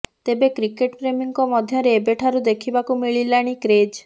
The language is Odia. ତେବେ କ୍ରିକେଟ ପ୍ରେମୀଙ୍କ ମଧ୍ୟରେ ଏବେଠାରୁ ଦେଖିବାକୁ ମିଳିଲାଣି କ୍ରେଜ